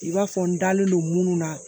I b'a fɔ n dalen don munnu na